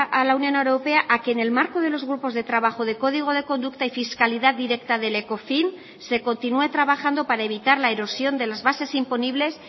a la unión europea a que en el marco de los grupos de trabajo de código de conducta y fiscalidad directa del ecofin se continúe trabajando para evitar la erosión de las bases imponibles